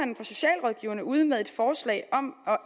jeg vil ude med et forslag om at